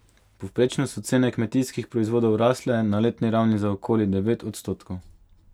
Povprečno so cene kmetijskih proizvodov rasle na letni ravni za okoli devet odstotkov.